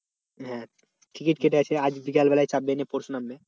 Ticket কেটেছে আজ বিকেল বেলায় চাপবে নিয়ে পরশু নামবে।